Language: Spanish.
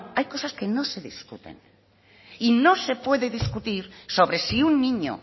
hay cosas que no se discuten y no se pueden discutir sobre si un niño